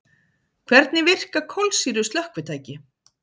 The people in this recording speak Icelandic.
Hvernig virka kolsýru slökkvitæki?